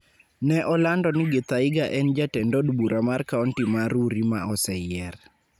ne olando ni Githaiga en Jatend od bura mar kaonti ma Rurii ma oseyier.